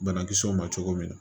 Banakisɛw ma cogo min na